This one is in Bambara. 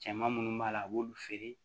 Cɛman munnu b'a la a b'olu feere